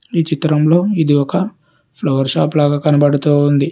ఈ చిత్రంలో ఇది ఒక ఫ్లవర్ షాప్ లాగా కనబడుతూ ఉంది.